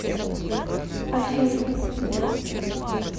альфию